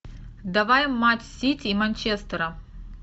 давай матч сити и манчестера